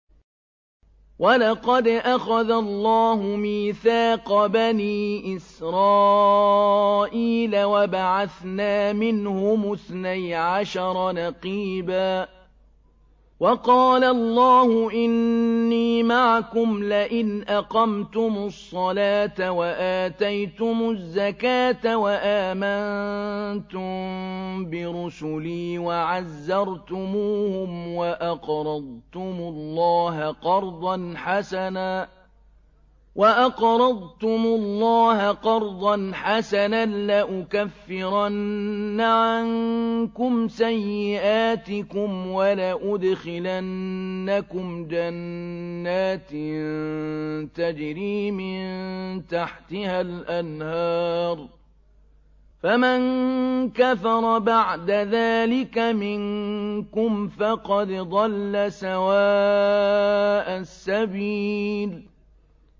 ۞ وَلَقَدْ أَخَذَ اللَّهُ مِيثَاقَ بَنِي إِسْرَائِيلَ وَبَعَثْنَا مِنْهُمُ اثْنَيْ عَشَرَ نَقِيبًا ۖ وَقَالَ اللَّهُ إِنِّي مَعَكُمْ ۖ لَئِنْ أَقَمْتُمُ الصَّلَاةَ وَآتَيْتُمُ الزَّكَاةَ وَآمَنتُم بِرُسُلِي وَعَزَّرْتُمُوهُمْ وَأَقْرَضْتُمُ اللَّهَ قَرْضًا حَسَنًا لَّأُكَفِّرَنَّ عَنكُمْ سَيِّئَاتِكُمْ وَلَأُدْخِلَنَّكُمْ جَنَّاتٍ تَجْرِي مِن تَحْتِهَا الْأَنْهَارُ ۚ فَمَن كَفَرَ بَعْدَ ذَٰلِكَ مِنكُمْ فَقَدْ ضَلَّ سَوَاءَ السَّبِيلِ